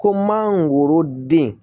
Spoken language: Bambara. Ko mangoro den